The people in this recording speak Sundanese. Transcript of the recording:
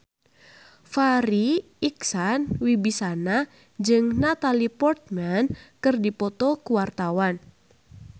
Farri Icksan Wibisana jeung Natalie Portman keur dipoto ku wartawan